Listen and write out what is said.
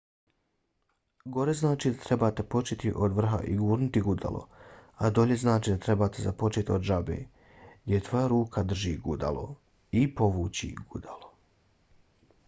gore znači da trebate početi od vrha i gurnuti gudalo a dolje znači da trebate započeti od žabe gdje tvoja ruka drži gudalo i povući gudalo